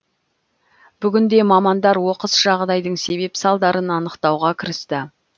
бүгінде мамандар оқыс жағдайдың себеп салдарын анықтауға кірісті